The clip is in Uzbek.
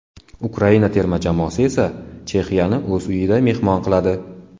Ukraina terma jamoasi esa Chexiyani o‘z uyida mehmon qiladi.